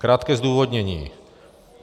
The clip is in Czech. Krátké zdůvodnění.